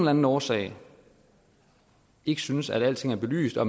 anden årsag ikke synes at alting er belyst og